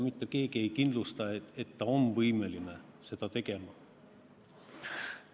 Mitte keegi ei kindlusta, et ta on võimeline seda tegema.